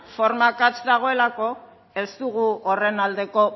forma akatsa dagoelako ez dugu horren aldeko